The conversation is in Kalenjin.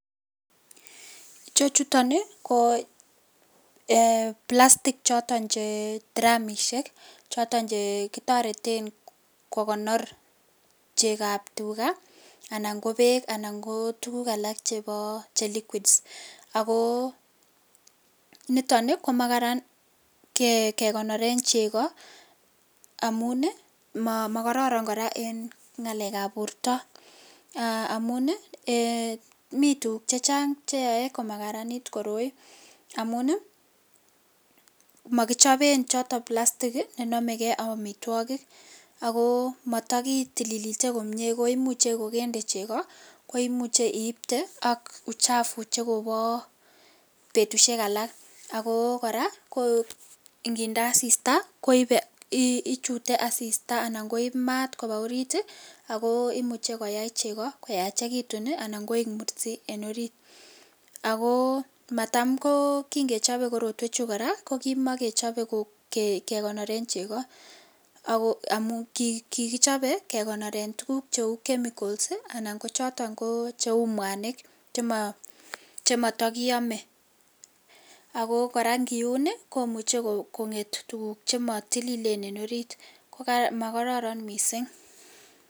ichechuton iih koo plastic cs} choton che tiramisiek choton chegitoreten kegonor cheegab tugaa anan ko beek anan ko tugug alak che liguids agoo niton komagaran kegonoren chego amun iih mogororo koraa en ngaleek ab borto aah amun iih een miituguk chechang cheyoe komagaraniit koroi amuun iih mogichoben choto plastic monomegee ak omitwogik agoo matagitilili komyee koimuche kogongeet cheego koimuche iiste ak uchafu chegoboo betusyeek alaak agoo koraa ninde asista, koibe anan ichute asista anai koib maat koba oriit iih ago imuche koyaai chego koyachegitun iih anan koek mursiik en oriit, agoo maatam goo kingechobe korotwek chu koraa kimogechobe kegonoren chegoo amuun kigichobe kegonoren tuguk cheuu chemicals iih anan kochoton cheuu mwanik chemotokiyomee ago koraa ngiuun komuche konget tuguk chemotililen en oriit magararan mising